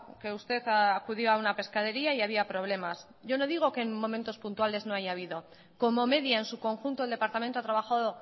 que usted acudió a una pescadería y había problemas yo no digo que en unos momentos puntuales no haya habido como medida en su conjunto el departamento ha trabajado